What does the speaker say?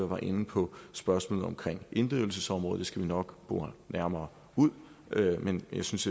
var inde på spørgsmålet om inddrivelsesområdet skal vi nok bore nærmere ud men jeg synes